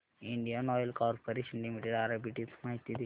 Indian Oil Corporation Limited arbitrage माहिती दे